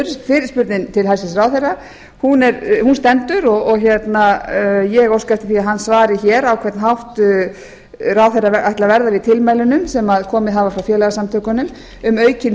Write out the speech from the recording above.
fyrirspurn mín til hæstvirts ráðherra stendur sem sagt ég óska eftir því að hæstvirtur ráðherra svari því á hvern hátt hann ætli að verða við tilmælum sem komið hafa frá félagasamtökunum um aukin